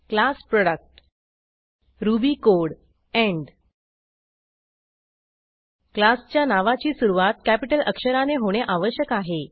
class product Ruby code end क्लासच्या नावाची सुरूवात कॅपिटल अक्षराने होणे आवश्यक आहे